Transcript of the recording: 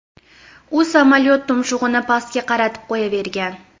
U samolyot tumshug‘ini pastga qaratib qo‘yavergan.